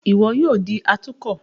Iwọ yoo di atukọ!